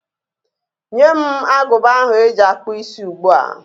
Nye m agụba ahụ eji akpụ isí ugbu a!